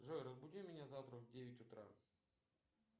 джой разбуди меня завтра в девять утра